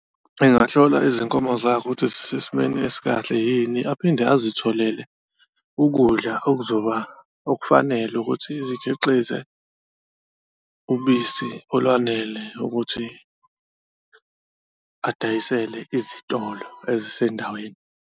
Engahlola izinkomo zakhe ukuthi zisesimeni esikahle yini. Aphinde azitholele ukudla okuzoba okufanele ukuthi zikhiqize ubisi olwanele ukuthi adayisele izitolo ezisendaweni.